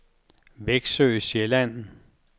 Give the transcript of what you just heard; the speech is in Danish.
Veksø Sjælland